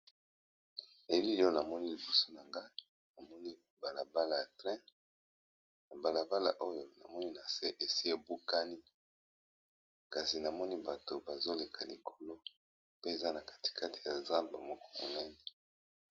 Elili oyo namoni libuso na nga namoni balabala ya trein na balabala oyo namoni na se esi ebukani kasi namoni bato bazoleka likolo pe eza na katikate ya zambe moko monene.